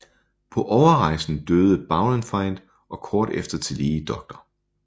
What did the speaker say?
På overrejsen døde Baurenfeind og kort efter tillige dr